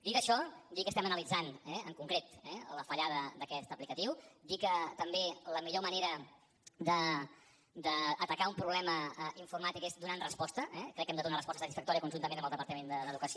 dit això dir que estem analitzant en concret eh la fallada d’aquesta aplicació dir que també la millor manera d’atacar un problema informàtic és donant hi resposta crec que hi hem de donar resposta satisfactòria conjuntament amb el departament d’educació